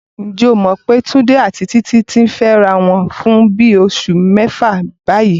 Ǹjẹ́ o mọ̀ pé Túndé àti Títí ti ń fẹ́ra wọn fún bí oṣù mẹ́fà báyìí?